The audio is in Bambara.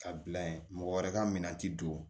Ka bila ye mɔgɔ wɛrɛ ka minan ti don